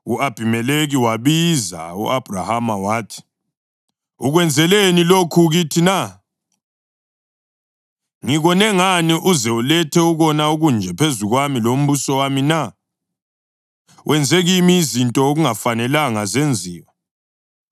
U-Abhimelekhi wasebiza u-Abhrahama wathi, “Ukwenzeleni lokhu kithi na? Ngikone ngani uze ulethe ukona okunje phezu kwami lombuso wami na? Wenze kimi izinto okungafanelanga zenziwe.”